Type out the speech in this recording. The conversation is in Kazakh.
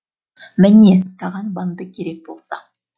міне саған банды керек болса